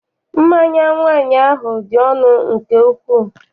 Mmanya nwaanyị ahụ dị ọnụ nke ukwuu.